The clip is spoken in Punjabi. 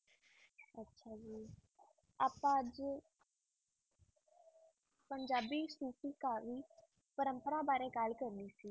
ਆਪਾਂ ਅੱਜ ਪੰਜਾਬੀ ਸੂਫ਼ੀ ਕਾਵਿ ਪਰੰਪਰਾ ਬਾਰੇ ਗੱਲ ਕਰਨੀ ਸੀ।